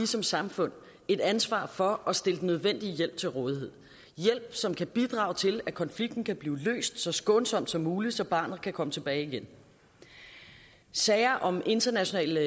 som samfund et ansvar for at stille den nødvendige hjælp til rådighed hjælp som kan bidrage til at konflikten kan blive løst så skånsomt som muligt så barnet kan komme tilbage igen sager om internationale